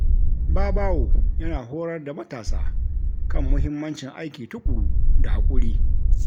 Babawo yana horar da matasa kan muhimmancin aiki tuƙuru da hakuri.